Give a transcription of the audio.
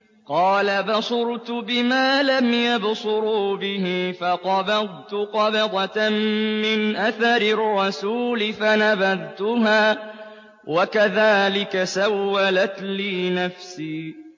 قَالَ بَصُرْتُ بِمَا لَمْ يَبْصُرُوا بِهِ فَقَبَضْتُ قَبْضَةً مِّنْ أَثَرِ الرَّسُولِ فَنَبَذْتُهَا وَكَذَٰلِكَ سَوَّلَتْ لِي نَفْسِي